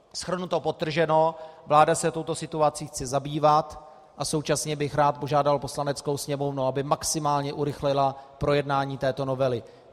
Shrnuto, podtrženo, vláda se touto situací chce zabývat, a současně bych rád požádal Poslaneckou sněmovnu, aby maximálně urychlila projednání této novely.